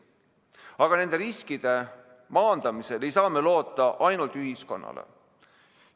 Aga nende riskide maandamisel ei saa me loota ainult ühiskonnale.